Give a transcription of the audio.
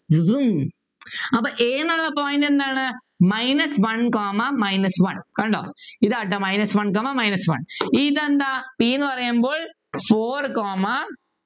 അപ്പൊ A ന്നുള്ള point എന്താണ് minus one comma minus one കണ്ടോ ഇതാട്ടോ minus one comma minus one ഇതെന്താ P ന്നു പറയുമ്പോൾ four comma